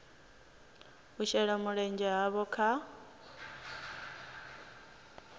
u shela mulenzhe havho kha